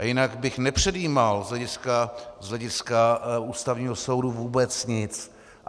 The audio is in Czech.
A jinak bych nepředjímal z hlediska Ústavního soudu vůbec nic.